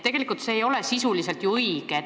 See ei ole ju sisuliselt õige.